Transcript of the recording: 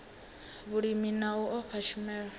vhulimi na u fha tshumelo